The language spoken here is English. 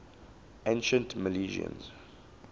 ancient milesians